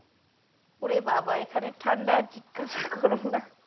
ওরে বাবা এখানের ঠাণ্ডা জিজ্ঞাসা কোরোনা